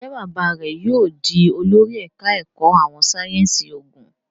Njé bàbá rẹ yóò dì olórí ẹka èkó àwọn sáyẹnsì oògùn?